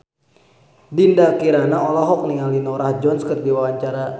Dinda Kirana olohok ningali Norah Jones keur diwawancara